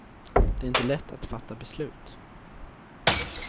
Det är inte lätt att fatta beslut.